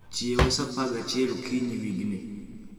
Chiewa saa apar gi achiel okinyi wigni